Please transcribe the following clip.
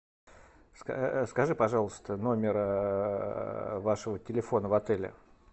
скажи пожалуйста номер вашего телефона в отеле